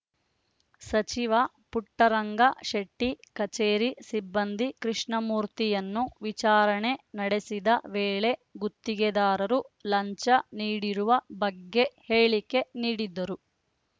ಸಚಿವ ಪುಟ್ಟರಂಗ ಶೆಟ್ಟಿಕಚೇರಿ ಸಿಬ್ಬಂದಿ ಕೃಷ್ಣಮೂರ್ತಿಯನ್ನು ವಿಚಾರಣೆ ನಡೆಸಿದ ವೇಳೆ ಗುತ್ತಿಗೆದಾರರು ಲಂಚ ನೀಡಿರುವ ಬಗ್ಗೆ ಹೇಳಿಕೆ ನೀಡಿದ್ದರು